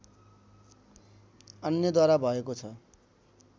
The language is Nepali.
अन्यद्वारा भएको छ